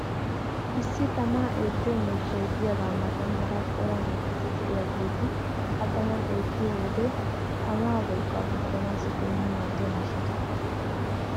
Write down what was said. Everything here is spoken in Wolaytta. issi tamaa eettiyo miishshay diyaaga matan hara cora miishshati diyaageeti a taman eetiyo wode tamaa wolqqaa gujjanaassi keehi maaddiya miishshata.